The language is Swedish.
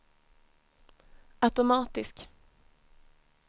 automatisk